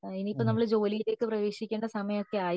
ഇനി ഇപ്പൊ നമ്മൾ ജോലിയിലേക്ക് പ്രവേശിക്കേണ്ട സമയം ഒക്കെ ആയി